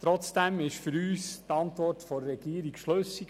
Trotzdem ist für uns die Antwort der Regierung schlüssig.